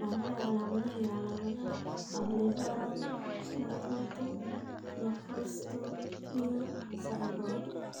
Waa maxay calaamadaha iyo calaamadaha Ablepharon macrostomia syndrome?